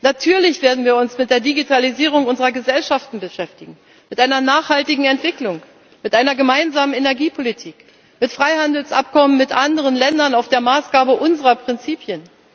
Natürlich werden wir uns mit der Digitalisierung unserer Gesellschaften beschäftigen, mit einer nachhaltigen Entwicklung, mit einer gemeinsamen Energiepolitik, mit Freihandelsabkommen mit anderen Ländern nach Maßgabe unserer Prinzipien.